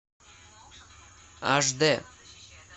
аш д